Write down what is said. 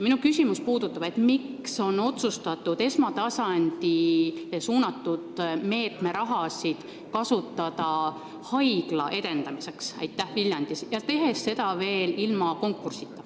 Minu küsimus on, miks on otsustatud esmatasandile suunatud meetme raha kasutada haigla edendamiseks Viljandis, tehes seda veel ilma konkursita.